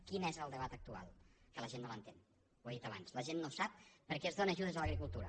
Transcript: quin és el debat actual que la gent no l’entén ho he dit abans la gent no sap per què es dóna ajudes a l’agricultura